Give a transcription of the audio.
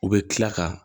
U bɛ tila ka